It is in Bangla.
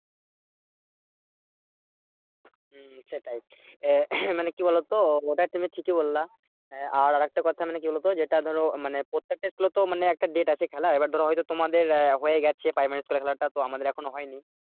হম হম সেটাই আহ মানে কি বলতো? ওটা তুমি ঠিকই বললে আহ আর আরেকটা কথা মানে কি বলতো যেটা ধরো মানে প্রত্যেকটা school এ তো মানে একটা date খেলার এবার ধরো হয়তো তোমাদের আহ হয়ে গেছে praimari school টা এর খেলাটা তো আমাদের এখনো হয়নি।